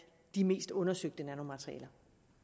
de mest undersøgte nanomaterialer